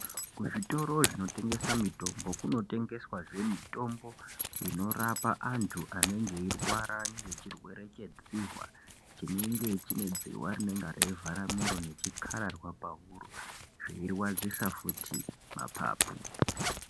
Kuzvitoro zvinotengesaa mitombo kunotengeswaazvee mitombo inorapa antu anenge eirwara ngechirwere chedzihwaa, chinenge chinedzihwa rinenga reivhara miroo nechikararwaa pahuro, zveirwadzisa futi mapapu.